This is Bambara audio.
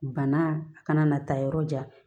Bana a kana na taa yɔrɔ jan